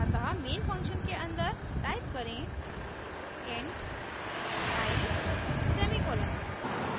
अतः main function के अन्दर type करें int i semicolon